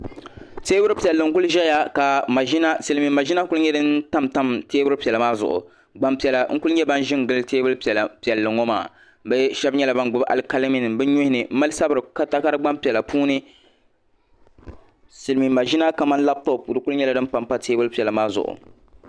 Teebuli piɛlli n-kuli ʒɛya ka silimiin maʒina kuli nyɛ din tam tam teebuli piɛla maa zuɣu Gbampiɛla n-kuli nyɛ ban ʒi n-gili teebuli piɛlli ŋɔ maa bɛ shɛba nyɛla gbubi alikaliminima bɛ nuhini m-mali sabiri takari gbampiɛla puuni silimiin maʒina kamani labitopu kuli nyɛla din pampa lala teebulipila maa zuɣu